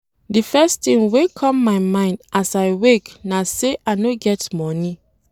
Di first tin wey come mind as I wake na sey I no get moni.